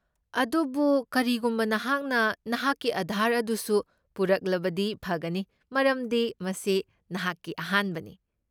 ꯑꯗꯨꯕꯨ ꯀꯔꯤꯒꯨꯝꯕ ꯅꯍꯥꯛꯅ ꯅꯍꯥꯛꯀꯤ ꯑꯥꯙꯥꯔ ꯑꯗꯨꯁꯨ ꯄꯨꯔꯛꯂꯕꯗꯤ ꯐꯒꯅꯤ ꯃꯔꯝꯗꯤ ꯃꯁꯤ ꯅꯍꯥꯛꯀꯤ ꯑꯍꯥꯟꯕꯅꯤ꯫